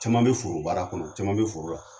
Cɛman bɛ foro baara kɔnɔ caman bɛ foro la